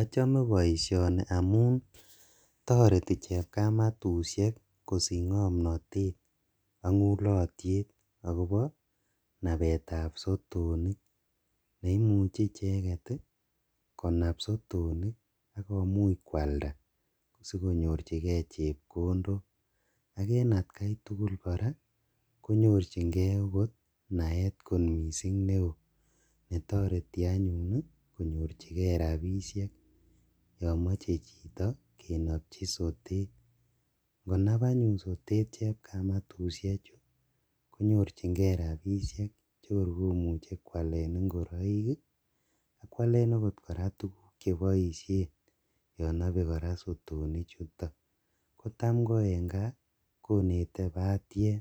Ochome boishoni amuun toreti chepkamatushek kosich ng'omnotet ak ng'ulotyet akobo nabeetab sotonik neimuche icheket konab sotonik akomuch kwalda sikonyorchike chepkondok ak en atkai tukul kora konyorching'e okot naeet kot mising neoo netoreti anyun konyorchikee rabishek yomoche chito kenopchi sotet, ng'onab anyun sotet chepkamatushechu konyorching'e rabishek chekor komuche kwalen ing'oroik akwalen okot tukuk cheboishen yoon nobee kora sotonichuutok, kotam ko en kaa konetee batiem